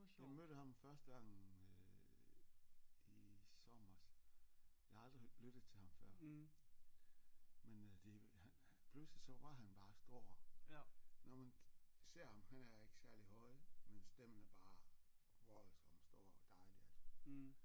Jeg mødte ham første gang øh i sommers jeg har aldrig lyttet til ham før men øh det pludselig så var han bare står når man ser ham han er ikke særlig høj men stemmen er bare voldsom stor dejlig altså